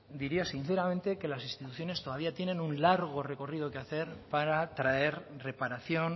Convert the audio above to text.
diría sinceramente que las instituciones todavía tienen un largo recorrido que hacer para traer reparación